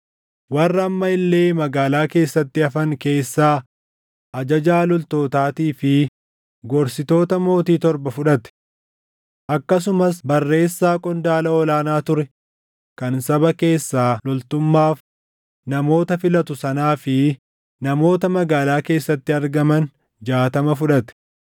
Warra amma illee magaalaa keessatti hafan keessaa ajajaa loltootaatii fi gorsitoota mootii torba fudhate. Akkasumas barreessaa qondaala ol aanaa ture kan saba keessaa loltummaaf namoota filatu sanaa fi namoota magaalaa keessatti argaman jaatama fudhate.